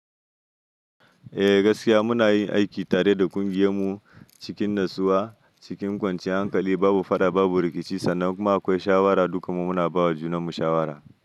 Eh gaskiya muna yin aiki tare da ƙungiyar mu cikin natsuwa, cikin kwanciyar hankali, babu fada babu rikici sannan kuma akwai shawara dukan mu muna ba wa junanmu shawara.